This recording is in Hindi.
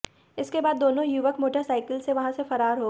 इसके बाद दोनों युवक मोटरसाईकिल से वहां से फरार हो गए